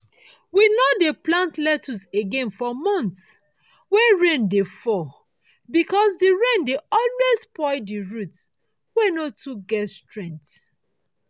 we no dey plant lettuce again for months wey rain dey fall because the rain dey always spoil the root wey no too get strength.